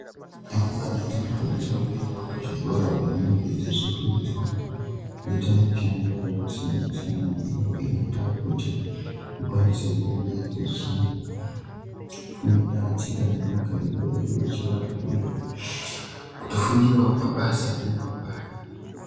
Rumbwana dzinokwanisawo kuendawo kuzvikora kwadzinenge dzichifundiswa kuita mishando yakasiyana-siyana iyo inoita kuti dzikwanise kunge dzichifunda tsika nemagariro edu echivanhu uye kutofundirawo mabasa emangwani.